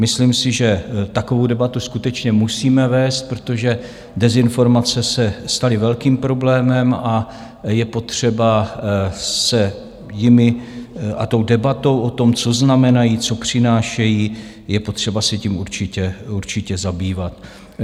Myslím si, že takovou debatu skutečně musíme vést, protože dezinformace se staly velkým problémem, a je potřeba se jimi a tou debatou o tom, co znamenají, co přinášejí, je potřeba se tím určitě zabývat.